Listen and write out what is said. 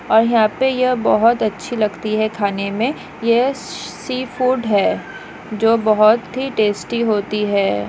और यहाँ पे यह बहुत अच्छी लगती खाने में यह सी फुड है जो बहुत ही टेस्टी होती है।